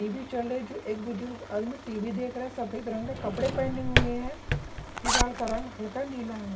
TV चल रही है जो एक बुजुर्ग में टी_वी देख रहे हैं सफेद रंग का कपड़े पहने हुए हैं दीवार का रंग हल्का नीला हैं।